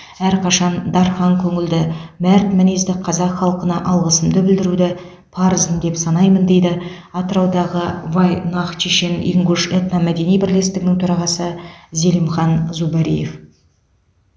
әрқашан дархан көңілді мәрт мінезді қазақ халқына алғысымды білдіруді парызым деп санаймын дейді атыраудағы вайнах чешен ингуш этномәдени бірлестігінің төрағасы зелимхан зубариев